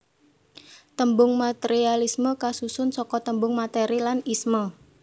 Tembung materialisme kasusun saka tembung materi lan isme